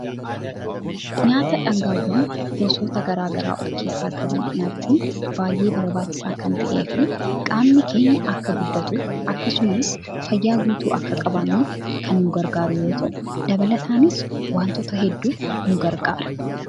Nyaata dhangaawwan goosota gara garaa of keessaa qaban nyaachuun baay’ee barbaachisaa kan ta'eefi qaamni keenya akka guddatuuf akkasumas fayyaa guutuu akka qabaannuuf kan nu gargaaru yoo ta'u dabalataanis wantoota hedduuf nu gargaara.